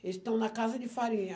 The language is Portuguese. Eles estão na casa de farinha.